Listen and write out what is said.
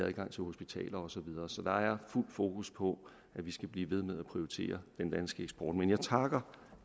adgang til hospitaler og så videre så der er fuld fokus på at vi skal blive ved med at prioritere den danske eksport men jeg takker